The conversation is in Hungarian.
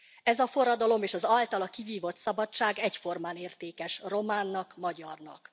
Ez a forradalom és az általa a kivívott szabadság egyformán értékes románnak, magyarnak.